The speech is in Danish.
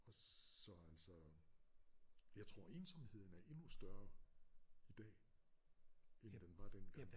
Og så altså jeg tror ensomheden er endnu større i dag end den var dengang